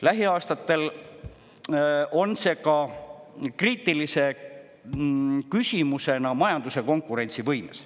Lähiaastatel on see ka kriitilise küsimusena majanduse konkurentsivõimes.